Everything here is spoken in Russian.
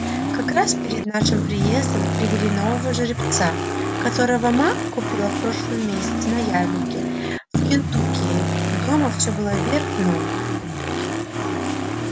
как раз перед нашим приездом привели нового жеребца которого ма купила в прошлом месяце на ярмарке в кентукки и дома все было вверх дном